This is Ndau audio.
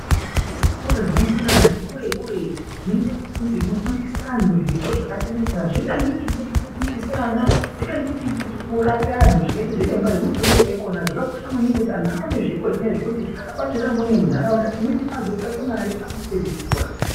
Kune zvikoro zvino endwa ne anhu ati kure kure zvinoite kunge zvino fundisa anhu zvipo zvaka siyana siyana zvingange chipo cheku fundisa ana chikange chipo cheku rapa anhu zvakaita zviremba zvino fundiswa ikona zvaka kosha maningi kuti anhu aone zvipo zvinezvi kuti abatsire amweni mu ndaraunda umweni azo tsvake mari apedze chikora.